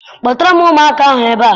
Kpọtara m ụmụaka ahụ ebe a!